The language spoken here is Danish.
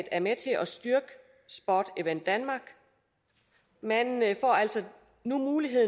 er med til at styrke sport event denmark man får altså nu mulighed